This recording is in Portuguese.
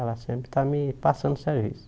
Ela sempre está me passando serviço.